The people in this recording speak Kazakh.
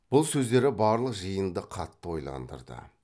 бұл сөздері барлық жиынды қатты ойландырды